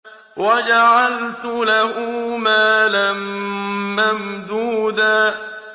وَجَعَلْتُ لَهُ مَالًا مَّمْدُودًا